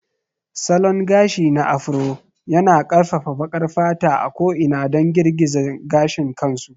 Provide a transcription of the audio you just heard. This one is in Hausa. Salon gashi na Afro yana ƙarfafa baƙar fata a ko'ina don girgiza gashin kansu.